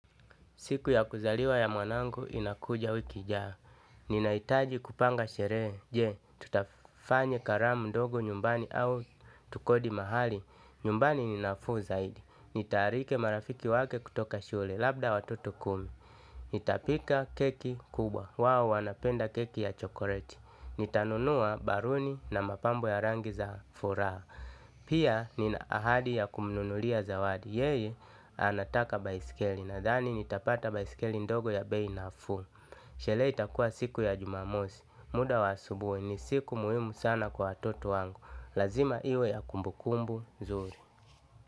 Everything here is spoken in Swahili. Siku ya kuzaliwa ya mwanangu inakuja wiki ijayo. Ninaitaji kupanga shere je. Tutafanye karamu dogo nyumbani au tukodi mahali. Nyumbani ninafuu zaidi. Nitaarike marafiki wake kutoka shule. Labda watoto kumi. Nita pika keki kubwa. Wao wanapenda keki ya chokoreti. Nitanunua baruni na mapambo ya rangi za furaha. Pia nina ahadi ya kumnunulia zawadi. Yeye anataka baisikeli nadhani nitapata baisikeli ndogo ya bei nafuu. Shele itakua siku ya jumamosi. Muda wa asubui ni siku muhimu sana kwa watoto wangu. Lazima iwe ya kumbukumbu, nzuri.